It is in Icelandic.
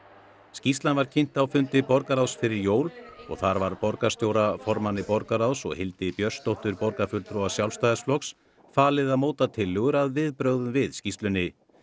skýrslan var kynnt á fundi borgarráðs fyrir jól og þar var borgarstjóra formanni borgarráðs og Hildi Björnsdóttur borgarfulltrúa Sjálfstæðisflokks falið að móta tilllögur að viðbrögðum við skýrslunni